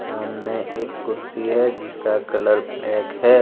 सामने एक कुर्सी है जिसका कलर ब्लैक है।